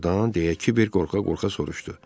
Doğurdan deyə Kibər qorxa-qorxa soruşdu.